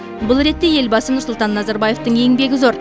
бұл ретте елбасы нұрсұлтан назарбаевтың еңбегі зор